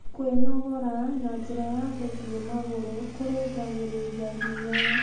Kwĩnogora na njĩra ya gũthĩĩe magũrũ kũrũngagĩrĩrĩa hinya